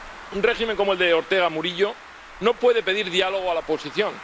Un régimen como el de Ortega Murillo no puede pedir diálogo a la oposición.